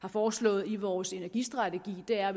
har foreslået i vores energistrategi er at